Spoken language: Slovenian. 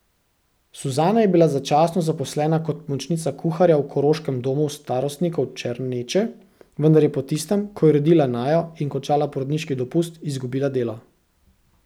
Suzana je bila začasno zaposlena kot pomočnica kuharja v koroškem domu starostnikov Černeče, vendar je po tistem, ko je rodila Najo in končala porodniški dopust, izgubila delo.